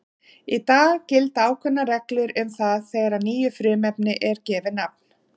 Í dag gilda ákveðnar reglur um það þegar nýju frumefni er gefið nafn.